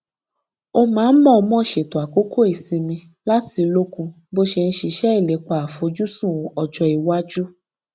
ó máa ń mọọmọ ṣètò àkókò ìsinmi láti lókun bó ṣe ń ṣiṣẹ ìlépa àfojúsùn ọjọ iwájú